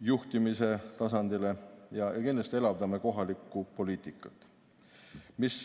juhtimise tasandile ja kindlasti elavdame kohalikku poliitikat.